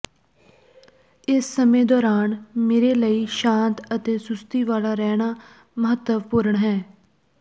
ਇਸ ਸਮੇਂ ਦੌਰਾਨ ਮੇਰੇ ਲਈ ਸ਼ਾਂਤ ਅਤੇ ਸੁਸਤੀ ਵਾਲਾ ਰਹਿਣਾ ਮਹੱਤਵਪੂਰਣ ਹੈ